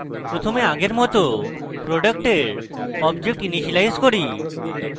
প্রথমে আগের মত product এর object ইনিসিয়েলাইজ করি